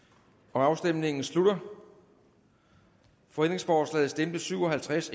afstemningen slutter for stemte syv og halvtreds